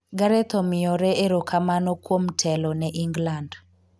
Gareth omiyore erokamano kuom telo ne England